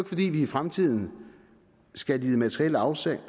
fordi vi i fremtiden skal lide materielle afsavn